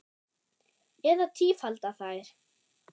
Eða tífalda þær.